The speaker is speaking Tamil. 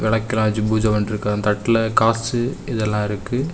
ராஜ் பூஜை பண்ணிட்ருக்கான் தட்டில் காசு இதெல்லாம் இருக்கு.